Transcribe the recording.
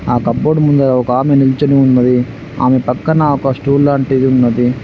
ఆ cupboard ముందర ఒకామె నిల్చొని ఉన్నది. ఆమె పక్కన ఒక స్టూల్ లాంటిది ఉన్నది.